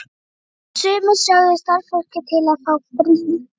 Sumir sögðu starfsfólkið til að fá frí.